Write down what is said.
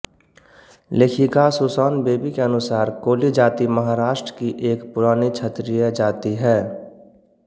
लेखिका Susan Bayly के अनुसार कोली जाती महाराष्ट्र की एक पुरानी क्षत्रिय जाती है